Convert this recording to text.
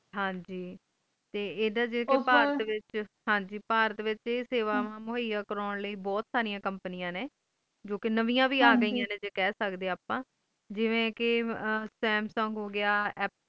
ਹਨ ਗ ਆਈ ਸੇਵਾ ਮੁਹਈਆ ਕਰੂੰ ਲਈ ਬਹੁਤ ਸਾਰੀਆਂ ਕੰਪਨੀਆਂ ਨੇ ਜੋ ਕ ਨਵੀਆਂ ਵੇ ਆ ਗਈਆਂ ਨੇ ਜਿਵੇਂ ਕ ਸਮਸੁੰਗ ਹੋ ਗਯਾ